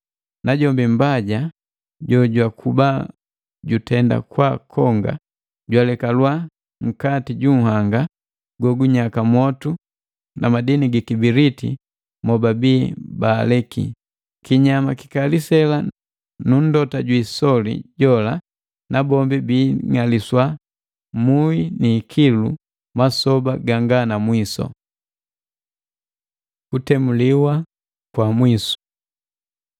Najombi Mmbaja jojwakuba jutenda kwaakonga, jwalekalwa nkati ju nhanga gogunyaka motu na madini gi kibiliti mobabi baaleki, kinyama kikali sela nu nndota jwiisoli, nabombi biing'aliswa mui ni ikilu, masoba ganga na mwisu. Kutemuliwa kwa mwisu